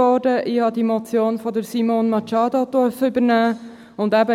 Ich durfte diese Motion von Simone Machado übernehmen.